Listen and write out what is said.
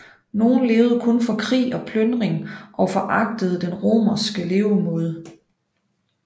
Nogen levede kun for krig og plyndring og foragtede den romerske levemåde